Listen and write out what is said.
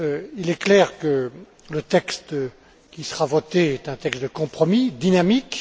Il est clair que le texte qui sera voté est un texte de compromis, dynamique.